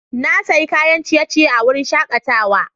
Na sayi kayan ciye-ciye a wurin shakatawa.